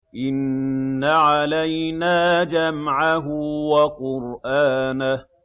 إِنَّ عَلَيْنَا جَمْعَهُ وَقُرْآنَهُ